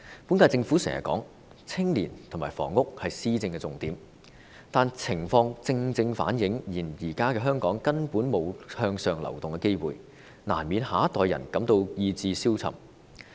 本屆政府經常說青年和房屋是施政的重點，但情況正正反映現在的香港根本沒有向上流動的機會，難免讓下一代人感到意志消沉。